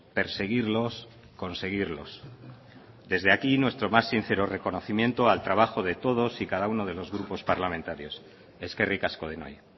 perseguirlos conseguirlos desde aquí nuestro más sincero reconocimiento al trabajo de todos y cada uno de los grupos parlamentarios eskerrik asko denoi